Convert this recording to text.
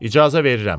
İcazə verirəm.